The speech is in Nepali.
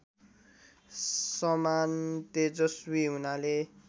समान तेजस्वी हुनाले